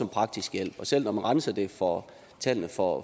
praktisk hjælp selv når man renser det for tallene for